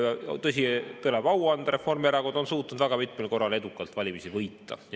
Tõsi, tuleb au anda, Reformierakond on suutnud väga mitmel korral edukalt valimisi võita.